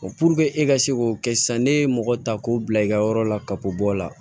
e ka se k'o kɛ sisan ne ye mɔgɔ ta k'o bila i ka yɔrɔ la ka bɔ bɔ o la